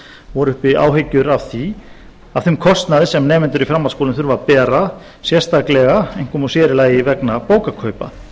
voru uppi áhyggjur af þeim kostnaði sem nemendur í framhaldsskólum þurfi að bera sérstaklega einkum og sér í lagi vegna bókakaupa